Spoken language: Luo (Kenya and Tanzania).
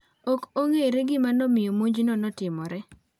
Ok ong'ere gima nomiyo monjno notimore .